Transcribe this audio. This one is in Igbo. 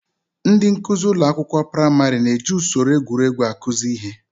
Ndị nkuzi ụlọ akwụkwọ praịmarị na-eji usoro egwuregwu akụzi ihe.